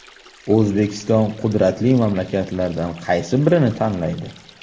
O‘zbekiston qudratli mamlakatlardan qaysi birini tanlaydi?